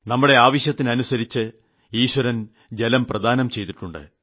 നമ്മുടെ ആവശ്യത്തിനനുസരിച്ച് ഈശ്വരൻ ജലം പ്രദാനം ചെയ്തിട്ടുണ്ട്